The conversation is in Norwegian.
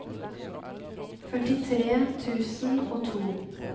førtitre tusen og to